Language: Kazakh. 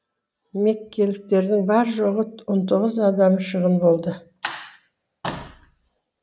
меккеліктердің бар жоғы он тоғыз адамы шығын болды